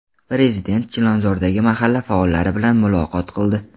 Prezident Chilonzordagi mahalla faollari bilan muloqot qildi.